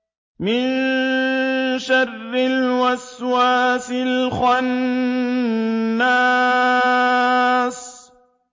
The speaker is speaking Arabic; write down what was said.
مِن شَرِّ الْوَسْوَاسِ الْخَنَّاسِ